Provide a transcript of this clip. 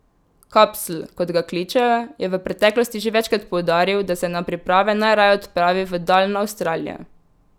Kapsl, kot ga kličejo, je v preteklosti že večkrat poudaril, da se na priprave najraje odpravi v daljno Avstralijo.